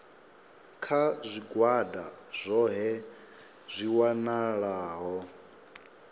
kha zwigwada zwohe zwi welaho